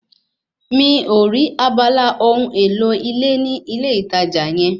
Mi ò rí abala ohun èlò ilé ní ilé ìtajà yẹ